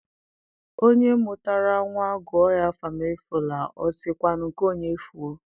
Onye mụtara nwa gụọ ya Akụmefule, o sị kwanụ nke onye fuo?